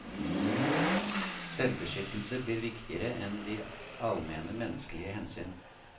Selvbeskyttelse blir viktigere enn de almene menneskelige hensyn.